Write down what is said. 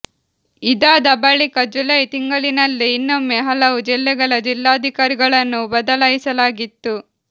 ಇದಾದ ಬಳಿಕ ಜುಲೈ ತಿಂಗಳಿನಲ್ಲೇ ಇನ್ನೊಮ್ಮೆ ಹಲವು ಜಿಲ್ಲೆಗಳ ಜಿಲ್ಲಾಧಿಕಾರಿಗಳನ್ನು ಬದಲಾಯಿಸಲಾಗಿತ್ತು